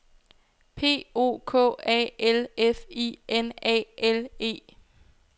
P O K A L F I N A L E